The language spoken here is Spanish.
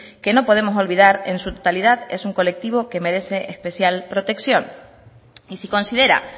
que no podemos olvidar que en su totalidad es un colectivo que merece especial protección y si considera